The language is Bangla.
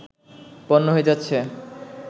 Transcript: পণ্য হয়ে যাচ্ছে